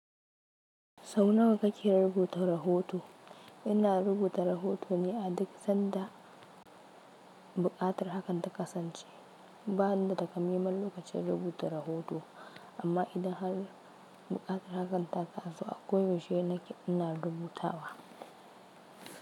Sau nawa kake rubuta rahoto? Ina rubuta rahoto ne adik sanda buƙatar hakan ta kasance. Ba ni da ta ka maiman lokacin rubuta rahoto, amma idan har buƙatar hakan ta taso, akwai yaushe nake ina rubuta wa.